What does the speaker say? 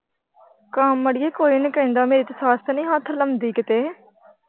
ਕੰਮ ਅੜੀਏ ਕੋਈ ਨਹੀਂ ਕਹਿੰਦਾ ਮੇਰੀ ਤੇ ਸੱਸ ਨਹੀਂ ਹੱਥ ਲਾਉਂਦੀ ਕਿਤੇ।